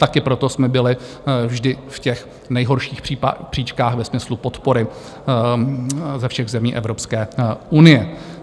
Taky proto jsme byli vždy v těch nejhorších příčkách ve smyslu podpory ze všech zemí Evropské unie.